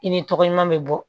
I ni tɔgɔ ɲuman bɛ bɔ